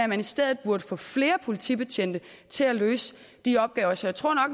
man i stedet burde få flere politibetjente til at løse de opgaver så jeg tror